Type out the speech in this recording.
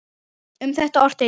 Um þetta orti Jón